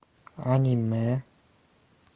аниме